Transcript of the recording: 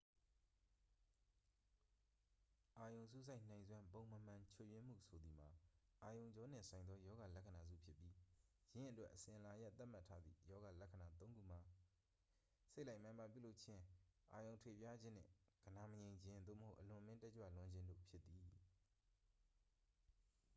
အာရုံစူးစိုက်နိုင်စွမ်း ပုံမမှန်ချွတ်ယွင်းမှု ဆိုသည်မှာ အာရုံကြောနှင့်ဆိုင်သော ရောဂါလက္ခဏာစုဖြစ်ပြီး ယင်းအတွက် အစဉ်အလာအရ သတ်မှတ်ထားသည့် ရောဂါလက္ခဏာသုံးခုမှာ စိတ်လိုက်မာန်ပါပြုလုပ်ခြင်း အာရုံထွေပြားခြင်းနှင့် ဂဏာမငြိမ်ခြင်း သို့မဟုတ် အလွန်အမင်းတက်ကြွလွန်းခြင်း တို့ဖြစ်သည်